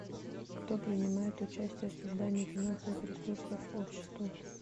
кто принимает участие в создании финансовых ресурсов общества